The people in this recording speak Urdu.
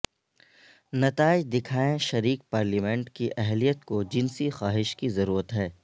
نتائج دکھائیں شریک پارلیمنٹ کی اہلیت کو جنسی خواہش کی ضرورت ہے